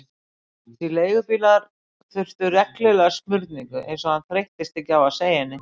Því leigubílar þurftu reglulega smurningu, eins og hann þreyttist ekki á að segja henni.